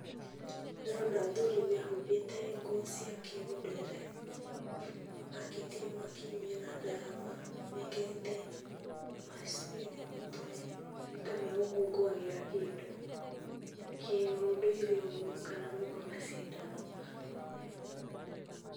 Ndĩrona athuri mehubĩte nguo cia kĩũnduire, makĩtie mwaki na ndarama, mekĩrĩte macuĩrĩ mũtwe ni ta magũkũnguagĩra kĩndu kĩunduire uguo, kana maũma macindano.